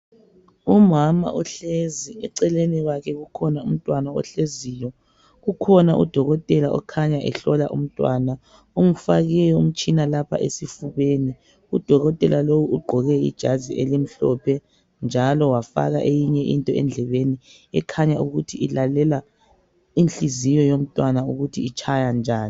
Umama uhlezi, eceleni kwakhe kukhona umntwana ohleziyo. Kukhona uDokotela okhanya ehlola umntwana umfake umtshina lapha esifubeni, uDokotela lo ugqoke ijazi elimhlophe njalo wafaka eyinye into endlebeni ekhanya ukuthi ilalela inhliziyo yomntwana ukuthi itshaya njani.